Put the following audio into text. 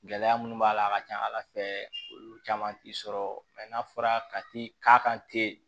Gɛlɛya minnu b'a la a ka ca ala fɛ olu caman ti sɔrɔ mɛ n'a fɔra ka ti k'a kan ten